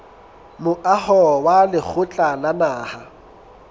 moaho wa lekgotla la naha